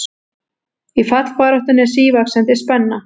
Í fallbaráttunni er sívaxandi spenna